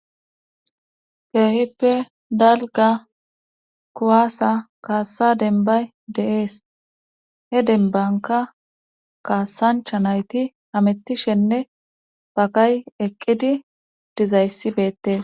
Keehippe dalga kuwaasa kaassa denbay de'ees he denbanka kaassancha nayti amettishenne bagay eqqidi dizayssibeettes